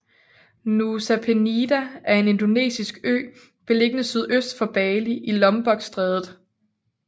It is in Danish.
Nusa Penida er en indonesisk ø beliggende sydøst for Bali i Lombokstrædet